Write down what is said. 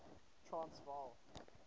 transvaal